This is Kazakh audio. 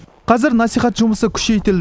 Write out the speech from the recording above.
қазір насихат жұмысы күшейтілді